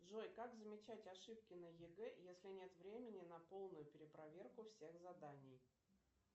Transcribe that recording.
джой как замечать ошибки на егэ если нет времени на полную перепроверку всех заданий